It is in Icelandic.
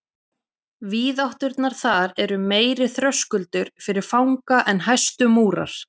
Víðátturnar þar eru meiri þröskuldur fyrir fanga en hæstu múrar.